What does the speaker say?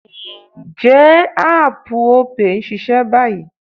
Ǹjẹ́ áàpù Opay ń ṣiṣẹ́ báyìí?